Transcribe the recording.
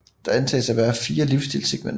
Der antages at være fire livsstilssegmenter